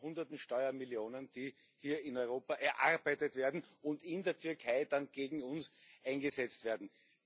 Ich rede von Hunderten Steuermillionen, die hier in Europa erarbeitet werden und in der Türkei dann gegen uns eingesetzt werden.